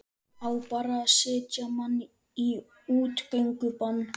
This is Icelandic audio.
Á bara að setja mann í útgöngubann?